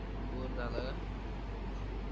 तू bore झाला का?